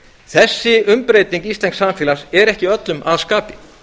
þessi umbreyting íslensks samfélags er ekki öllum að skapi